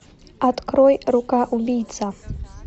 открой рука убийца